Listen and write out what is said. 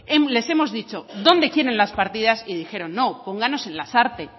les hemos dicho dónde quieren las partidas y dijeron no pónganos en lasarte